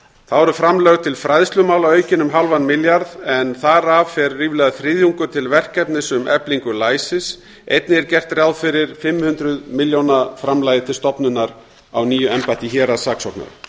þá eru framlög til fræðslumála aukin um hálfan milljarð en þar af fer ríflega þriðjungur til verkefnis um eflingu læsis einnig er gert ráð fyrir fimm hundruð milljóna framlagi til stofnunar á nýju embætti héraðssaksóknara